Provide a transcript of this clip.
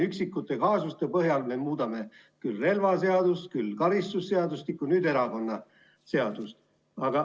Üksikute kaasuste põhjal me muudame küll relvaseadust, küll karistusseadustikku, nüüd muudame erakonnaseadust.